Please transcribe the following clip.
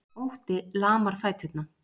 Ótti lamar fæturna.